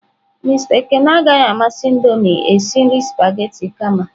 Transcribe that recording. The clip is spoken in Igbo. Mister Ekene agaghị amasị Indomie esi nri spaghetị kama.